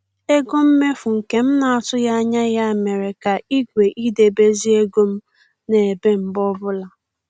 Ego mmefu nke m na-atụghị anya ya mere ka igwe idebezi ego m na-ebe mgbe ọbụla